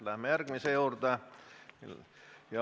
Läheme järgmise teema juurde.